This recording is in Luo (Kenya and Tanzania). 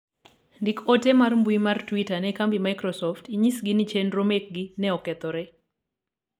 ndik ote mar mbui mar twita ne kambi microsoft inyisgi ni chenro mekgi ne okethore